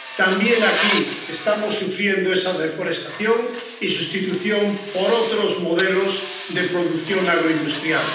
También aquí estamos sufriendo esa deforestación y la sustitución por otros modelos de producción agroindustrial.